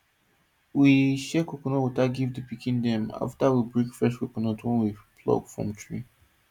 we share coconut water give the pikin dem after we break fresh coconut wey we pluck from tree